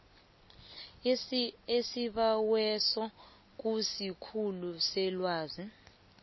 isibaweso kusikhulu selwazi